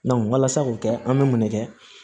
walasa k'o kɛ an bɛ mun ne kɛ